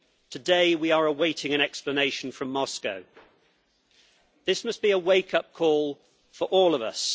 Today, we are awaiting an explanation from Moscow. This must be a wake up call for all of us.